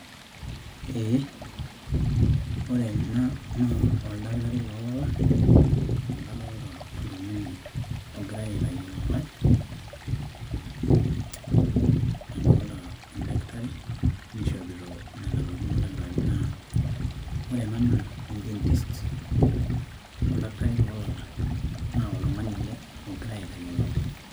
ee ore ena naa, oldakitari loo lala amu kadoolta oltungani ogirae aitayu olalae, nadoolta e daktari, neishopito nena tokitin oldakitarini naa, ore ena naa en dentist. oldakitari loo lala, naa oltungani ele ogirae aitayu olalae.